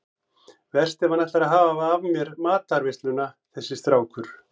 Verst ef hann ætlar að hafa af mér matarveisluna þessi strákur.